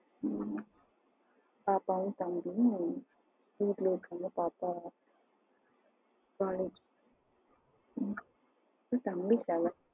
okay பாப்பாவும் தம்பியும் பக்கத்துல இருக்காங்க பாப்பா college ஓ அப்டியா தம்பி நீங்க எத்தனாவது